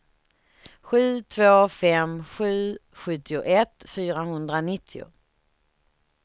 sju två fem sju sjuttioett fyrahundranittio